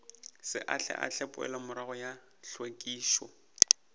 se ahlaahle poelomorago ya hlwekišo